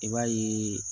I b'a yeee